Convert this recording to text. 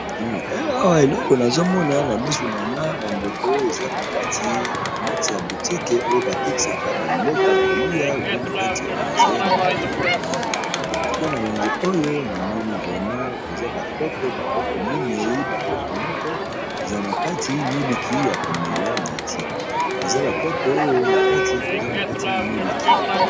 Awa eleko nazomona na misu na nga bandeko, eza nkati ya butike oyo batekisaka babiloko ya kolia obie na kati ya wenze na monoko ya lingana, kona weze oyo namoni vrema koza bakopo bakopo minei bakopo moko eza na kati miliki ya komela na ti, eza bakopo oyo na kati koza na kati miliki.